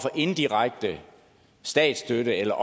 indirekte statsstøtte eller